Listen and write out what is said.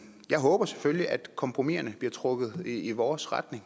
jeg håber selvfølgelig at kompromiserne bliver trukket i vores retning